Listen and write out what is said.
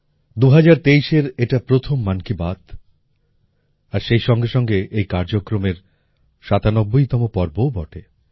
২০২৩এর এটা প্রথম মন কি বাত আর সেই সঙ্গে সঙ্গে এই কার্যক্রমের সাতানব্বইতম পর্বও বটে